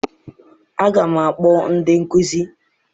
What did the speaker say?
Aga m akpọ ndị nkụzi!